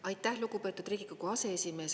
Aitäh, lugupeetud Riigikogu aseesimees!